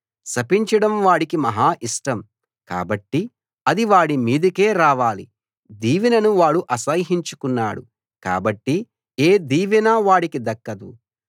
శపించడం వాడికి మహా ఇష్టం కాబట్టి అది వాడి మీదికే రావాలి దీవెనను వాడు అసహ్యించుకున్నాడు కాబట్టి ఏ దీవెనా వాడికి దక్కదు